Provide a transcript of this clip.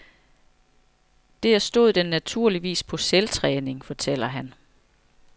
Der stod den naturligvis på selvtræning, fortæller han.